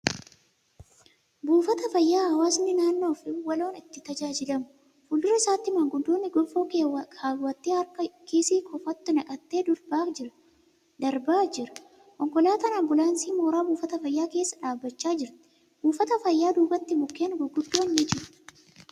Buufata fayyaa hawaasni naannoo waloon itti tajaajilamu. Fuuldura isaatti Maanguddoon gonfoo keewwatee harka kiisii kofoottu naqatee darbaa jira. Konkolaataan ambulaansii mooraa buufata fayyaa keessa dhaabachaa jirti. Buufata fayyaa duubatti mukkeen gurguddoo ni jiru.